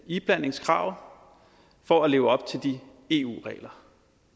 iblandingskravet for at leve op til de eu regler